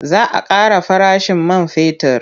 Za a ƙara farashin man fetur.